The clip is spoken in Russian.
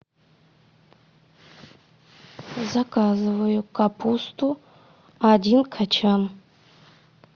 заказываю капусту один качан